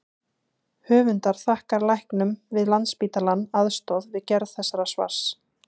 Höfundar þakkar læknum við Landspítalann aðstoð við gerð þessa svars.